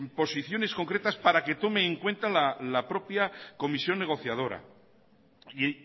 posiciones concretas para que tome en cuenta la propia comisión negociadora y